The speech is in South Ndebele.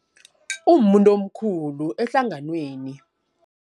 Umuntu omkhulu ehlanganweni.